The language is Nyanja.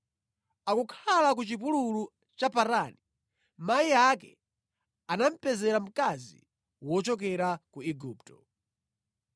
Akukhala ku chipululu cha Parani, mayi ake anamupezera mkazi wochokera ku Igupto.